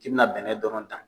I bɛna bɛnɛ dɔrɔn ta